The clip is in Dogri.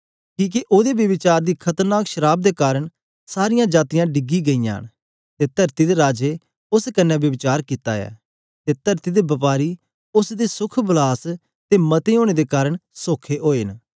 किके ओदे ब्यभिचार दी खतरनाक शराव दे कारन सारीयां जातीयां डिगी गईयां न ते तरती दे राजें उस्स कन्ने ब्यभिचार कित्ता ऐ ते तरती दे बपारी उस्स दी सुख विलास दे मते ओनें दे कारन सोखे ओए न